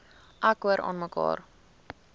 ek hoor aanmekaar